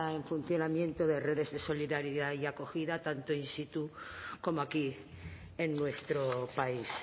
en funcionamiento de redes de solidaridad y acogida tanto in situ como aquí en nuestro país